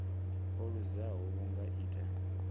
o luzaho vhu nga ita